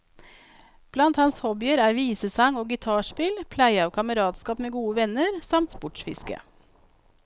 Blant hans hobbyer er visesang og gitarspill, pleie av kameratskap med gode venner, samt sportsfiske.